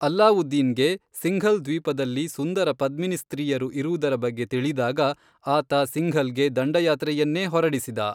ಅಲಾವುದ್ದೀನ್ಗೆ ಸಿಂಘಲ್ ದ್ವೀಪದಲ್ಲಿ ಸುಂದರ ಪದ್ಮಿನಿ ಸ್ತ್ರೀಯರು ಇರುವುದರ ಬಗ್ಗೆ ತಿಳಿದಾಗ, ಆತ ಸಿಂಘಲ್ಗೆ ದಂಡಯಾತ್ರೆಯನ್ನೇ ಹೊರಡಿಸಿದ.